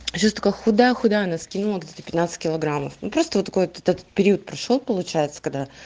а сейчас такая худая худая она скинула где то пятнадцать килограммов ну просто вот этот период прошёл получается когда